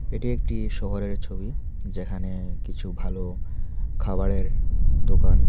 এটি একটি শহরের ছবি যেখানে কিছু ভালো খাবারের দোকান--